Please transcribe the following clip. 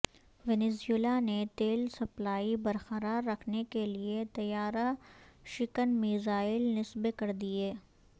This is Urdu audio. وینزویلا نے تیل سپلائی برقرار رکھنے کیلئے طیارہ شکن میزائل نصب کردیے